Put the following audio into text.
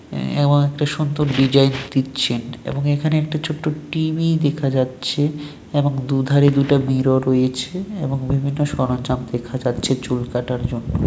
এবং একটি সুন্দর ডিজাইন দিচ্ছেন এবং এখানে একটা ছোট্ট টি. ভি. দেখা যাচ্ছে এবং দু ধারে দুটো মিরর রয়েছে এবং বিভিন্ন সরঞ্জাম রয়েছে দেখা যাচ্ছে চুল কাটার জন্য।